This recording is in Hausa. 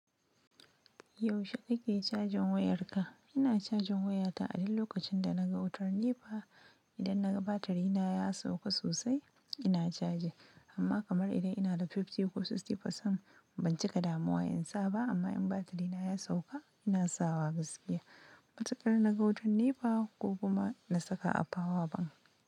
Yaushe ake cajan wayarka? Ina cajan wayata a duk lokacin da naga wutar Nepa, i dan naga batiri na ya sauka sosai ina caji, amma kamar idan ina da fifty ko sixty percent ban cika da muwa in sa ba. Amma in batirina ya sauka, ina sawa gaskiya. Matsakar na ga wutar NEPA ko kuma na saka a power bank.